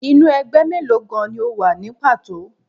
Inú ẹgbẹ́ mélòó gan-an ni o wà ní pàtó?